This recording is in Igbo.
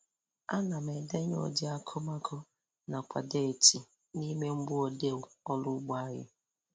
Ana m edenye udi akumakụ nakwa deeti n' ime mgboodee ọrụ ugbo anyị